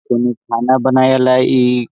कोनो खाना बनाए वाला इ --